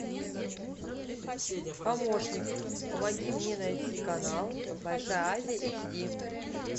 помощник помоги мне найти канал большая азия эйч ди